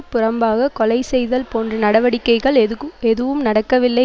புறம்பாக கொலை செய்தல் போன்ற நடவடிக்கைகள் எதுக்கும் எதுவும் நடக்கவில்லை